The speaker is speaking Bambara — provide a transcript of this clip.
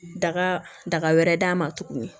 Daga daga wɛrɛ d'a ma tuguni